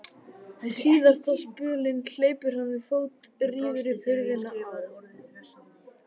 Síðasta spölinn hleypur hann við fót, rífur upp hurðina á